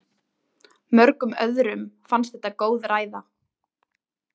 Mörgum öðrum fannst þetta góð ræða.